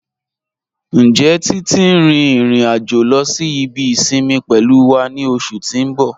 Njẹ́ Titi n rin irin-ajo lọ sí ibi isinmi pẹ̀lú wa ni oṣù ti n bọ̀?